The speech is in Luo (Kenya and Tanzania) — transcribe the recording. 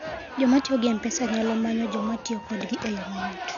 Joma tiyo gi M-Pesa nyalo manyo joma tiyo kodgi e yo mayot.